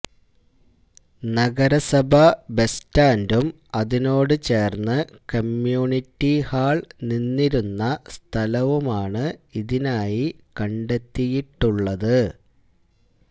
നഗരസഭാ ബസ് സ്റ്റാൻഡും അതിനോടുചേർന്ന് കമ്യൂണിറ്റിഹാൾ നിന്നിരുന്ന സ്ഥലവുമാണ് ഇതിനായി കണ്ടെത്തിയിട്ടുള്ളത്